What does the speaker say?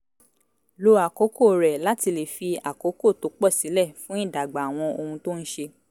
lo àkókò rẹ̀ láti lè fi àkókò tó pọ̀ sílẹ̀ fún ìdàgbà àwọn ohun tó ń ṣe